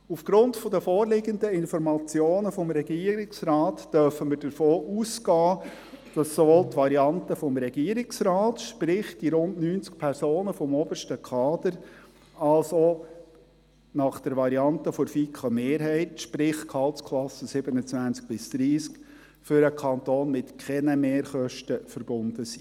Aufgrund der vorliegenden Informationen des Regierungsrates dürfen wir davon ausgehen, dass sowohl die Variante des Regierungsrates, sprich, die rund 90 Personen des obersten Kaders, als auch die Variante der FiKoMehrheit, sprich, die Gehaltsklassen 27–30, für den Kanton mit keinen Mehrkosten verbunden sind.